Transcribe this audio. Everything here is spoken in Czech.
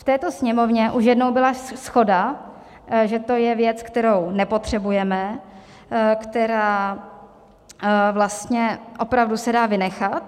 V této Sněmovně už jednou byla shoda, že to je věc, kterou nepotřebujeme, která vlastně opravdu se dá vynechat.